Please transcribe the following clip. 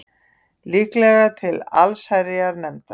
Líklega til allsherjarnefndar